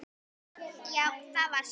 Já, það var satt.